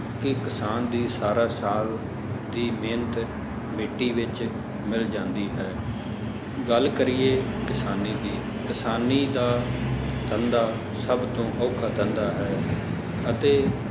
ਕਿ ਕਿਸਾਨ ਦੀ ਸਾਰਾ ਸਾਲ ਦੀ ਮਿਹਨਤ ਮਿੱਟੀ ਵਿੱਚ ਮਿਲ ਜਾਂਦੀ ਹੈ ਗੱਲ ਕਰੀਏ ਕਿਸਾਨੀ ਦੀ ਕਿਸਾਨੀ ਦਾ ਧੰਦਾ ਸਭ ਤੋਂ ਔਖਾ ਧੰਦਾ ਹੈ ਅਤੇ